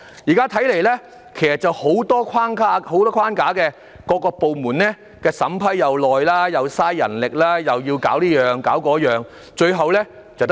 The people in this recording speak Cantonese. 現在看來，當局有很多框架，各部門審批需時，又花費人力來處理文件，最後卻是一場空。